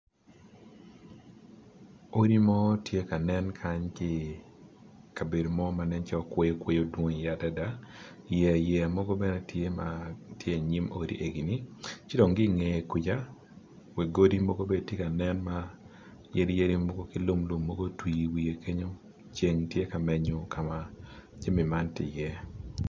Odi mo gitye kanen kany ki i kabedo mo ma nen calo kweyo dwong i iye adada yeya yeya mogo bene tye i nyim odi egini ci dong ki ngeye kwica wi godi mogo bene tye kanen ma yadi yadi ki lum mogo otwi i wiye kenyo ceng tye ka menyo ka ma jami man tye iye.